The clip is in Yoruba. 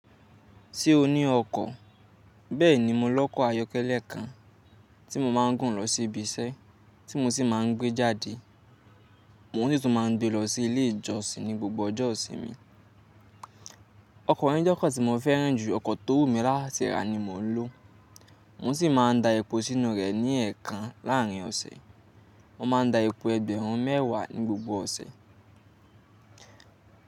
Ṣé o ní ọkọ̀? Bẹ́ẹ̀ni, mo lọ́kọ̀ ayọ́kẹ́lẹ́ kan tí mo máa ń gùn lọ sí ibi iṣẹ́ tí mo sì máa ń gbé jáde. Mo tún máa ń gbé lọ sí ilé ìjọsìn ní gbogbo ọjọ́ ìsinmi. Ọkọ̀ yẹ̀ jẹ́ ọkọ̀ tí mo fẹ́ràn jù ọkọ̀ tó wù mí látìra ni mò ń lò. Mo sì máa ń da epo sínú rẹ̀ ní ẹ̀ẹ̀kan láàrin ọ̀sẹ̀. Mo má a ń da epo ẹgbẹ̀rún mẹ́wàá ní gbogbo ọ̀sẹ̀.